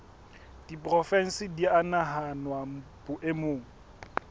diporofensi di a nahanwa boemong